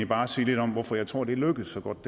bare sige lidt om hvorfor jeg tror det lykkedes så godt